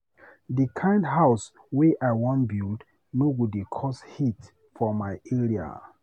Di kind house wey I wan build no go dey cause heat for my area.